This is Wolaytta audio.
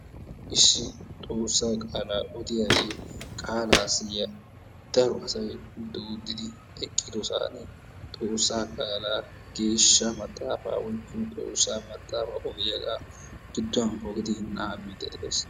Issi xoossaa qaalaa odiya ye qaalaassi ye daro asay doodidi eqqidosaani xoossaa qaalaa geeshsha maxaafaa oyiqqidi xoossaa maxaafa odiyaga gudduwan pogidi nababiide des.